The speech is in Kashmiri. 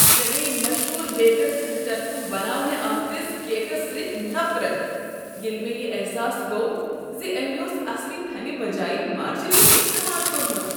مےٚ گٔیۍ مشہوٗر بیکر سٕنٛد طرفہٕ بناونہٕ آمتس کیکس سۭتۍ نفرت ییٚلہ مےٚ یہ احساس گوٚو ز أمۍ اوس اصلی تھنِہ بجایہ مارجرین استعمال کوٚرمت۔